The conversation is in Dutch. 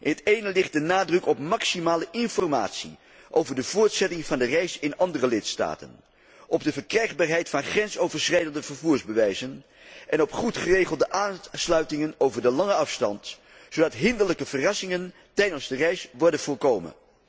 In het ene ligt de nadruk op maximale informatie over de voortzetting van de reis in andere lidstaten, op de verkrijgbaarheid van grensoverschrijdende vervoersbewijzen en op goed geregelde aansluitingen over de lange afstand, zodat hinderlijke verrassingen tijdens de reis worden voorkomen.